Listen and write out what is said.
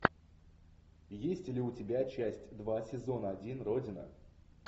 есть ли у тебя часть два сезон один родина